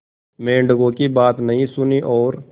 मेंढकों की बात नहीं सुनी और